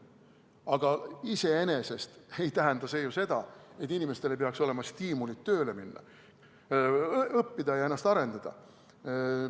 Aga iseenesest ei tähenda see seda, et inimestel ei peaks olema stiimulit tööle minna, õppida ja ennast arendada.